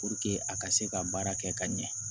Puruke a ka se ka baara kɛ ka ɲɛ